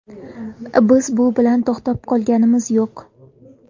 Biz bu bilan to‘xtab qolganimiz yo‘q.